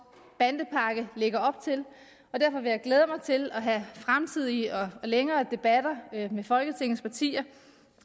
bandepakke lægger op til derfor vil jeg glæde mig til at have fremtidige og længere debatter med folketingets partier